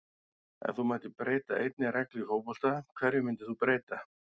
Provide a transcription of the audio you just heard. Ef þú mættir breyta einni reglu í fótbolta, hverju myndir þú breyta??